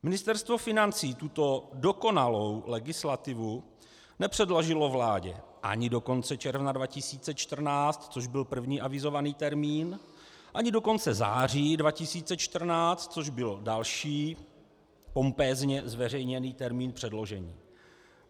Ministerstvo financí tuto dokonalou legislativu nepředložilo vládě ani do konce června 2014, což byl první avizovaný termín, ani do konce září 2014, což byl další pompézně zveřejněný termín předložení.